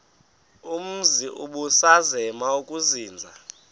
umzi ubusazema ukuzinza